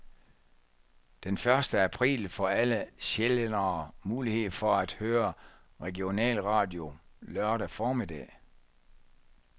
Den første april får alle sjællændere mulighed for at høre regionalradio lørdag formiddag.